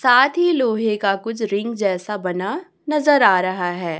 साथ ही लोहे का कुछ रिंग जैसा बना नजर आ रहा है।